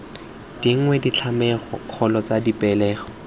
dingwe ditlhatlhamano kgolo tsa dipegelo